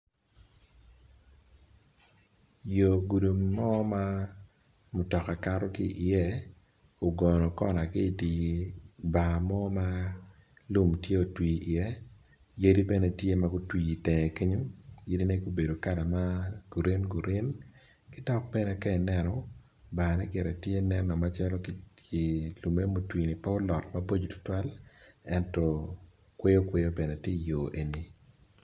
Yo gudi mo ma mutoka kato ki iye ogono kona ki idibar mo ma lum tye otwi i ye yadi bene tye ma gutwi itenge kenyo yadi ne gubedo kala ma green green kidok bene ka ineno bar ne gire tye nen o macalo lume motwini pe olot maboco tutwal ento kwoyo kwoyo bene tye i yo eni.